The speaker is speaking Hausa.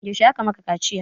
Yaushe aka maka kaciya?